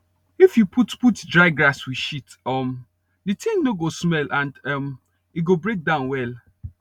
if you put put dry grass with shit um the thing no go smell and um e go break down well